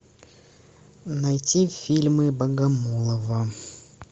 найти фильмы богомолова